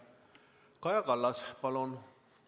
Kaja Kallas, palun!